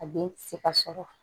A den tɛ se ka sɔrɔ